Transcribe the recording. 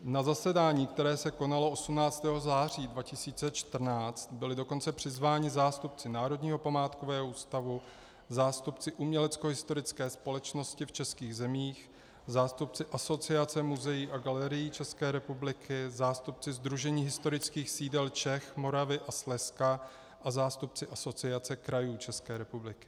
Na zasedání, které se konalo 18. září 2014, byli dokonce přizváni zástupci Národního památkového ústavu, zástupci Uměleckohistorické společnosti v českých zemích, zástupci Asociace muzeí a galerií České republiky, zástupci Sdružení historických sídel Čech, Moravy a Slezska a zástupci Asociace krajů České republiky.